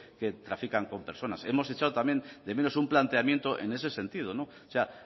que trafican con personas hemos echado también de menos un planteamiento en ese sentido o sea